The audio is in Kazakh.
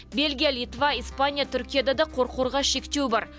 бельгия литва испания түркияда да қорқорға шектеу бар